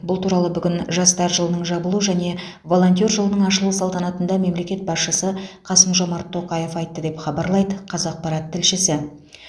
бұл туралы бүгін жастар жылының жабылу және волонтер жылының ашылу салтанатында мемлекет басшысы қасым жомарт тоқаев айтты деп хабарлайды қазақпарат тілшісі